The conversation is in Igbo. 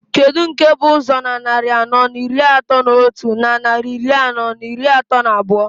Kedu nke bụ ụzọ na nnarị anọọ n'iri atọọ n'otu, na nnarị iri anọọ n'iri atọọ n'abụọ?